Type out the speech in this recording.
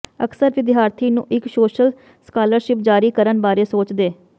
ਅਕਸਰ ਵਿਦਿਆਰਥੀ ਨੂੰ ਇੱਕ ਸੋਸ਼ਲ ਸਕਾਲਰਸ਼ਿਪ ਜਾਰੀ ਕਰਨ ਬਾਰੇ ਸੋਚਦੇ